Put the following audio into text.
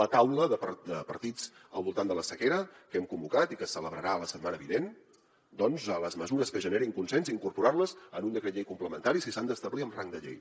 la taula de partits al voltant de la sequera que hem convocat i que es celebrarà la setmana vinent doncs les mesures que generin consens incorporar les en un decret llei complementari si s’han d’establir amb rang de llei